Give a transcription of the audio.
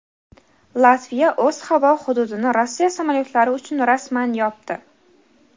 Latviya o‘z havo hududini Rossiya samolyotlari uchun rasman yopdi.